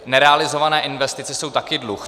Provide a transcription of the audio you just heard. Nerealizované investice jsou taky dluh.